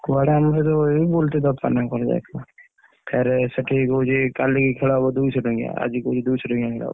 କୁଆଡେ ଆମର ଯାଇଥିଲା ଫେରେ ସେଠିକି କହୁଛି କାଲିକି ଖେଳ ହବ ଦୁଇଶହ ଟଙ୍କିଆ ଆଜି କହୁଛି ଦୁଇଶହ ଟଙ୍କିଆ ଖେଳ ହବ।